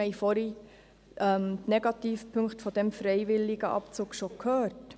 Wir haben vorhin die Nachteile eines freiwilligen Abzugs gehört.